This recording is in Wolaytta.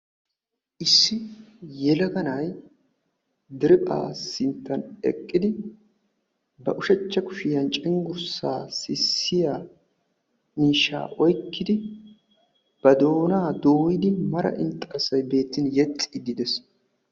issi yelaga na'ay derepha sinttan eqqidi ba ushachcha kushiyan cenggurssaa sissiya miishshaa oyikkidi ba doonaa dooyidi mara inxxarssay beettin yexxiiddi de'es.